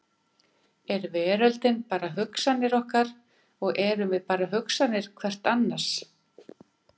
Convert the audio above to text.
Er veröldin bara hugsanir okkar og erum við bara hugsanir hvert annars?